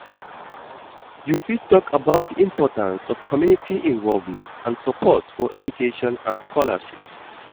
You fit talk about di importance of community involvement and support for education and scholarships.